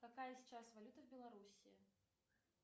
какая сейчас валюта в белоруссии